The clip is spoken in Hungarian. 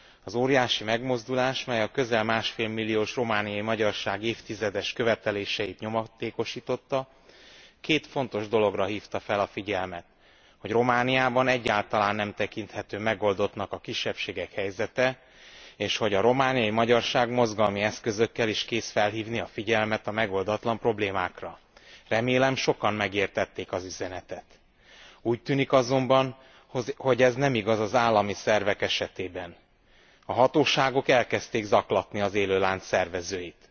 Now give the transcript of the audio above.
Az óriási megmozdulás, mely a közel másfél milliós romániai magyarság évtizedes követeléseit nyomatékosította, két fontos dologra hívta fel a figyelmet arra, hogy Romániában egyáltalán nem tekinthető megoldottnak a kisebbségek helyzete, és hogy a romániai magyarság mozgalmi eszközökkel is kész felhívni a figyelmet a megoldatlan problémákra. Remélem, sokan megértették az üzenetet. Úgy tűnik azonban, hogy ez nem igaz az állami szervek esetében. A hatóságok elkezdték zaklatni az élőlánc szervezőit.